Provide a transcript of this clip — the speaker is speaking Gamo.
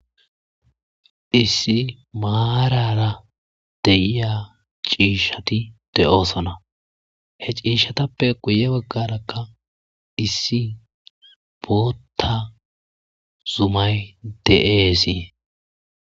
Issi marara de'iya cishshati de''ossona he cishshatappe guye baggaraka issi botta Zumayi de'esi.